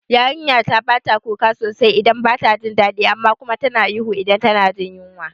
Yarinyata bata kuka sosai idan bata jin dadi amma kuma tana ihu idan tana jin yunwa